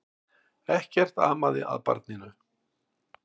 Ekkert amaði að barninu.